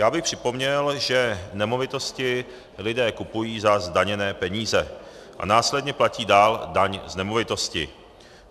Já bych připomněl, že nemovitosti lidé kupují za zdaněné peníze a následně platí dál daň z nemovitosti.